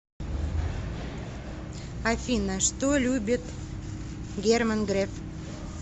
афина что любит герман греф